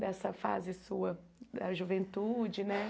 dessa fase sua da juventude, né?